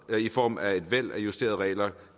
i form af et væld af justerede regler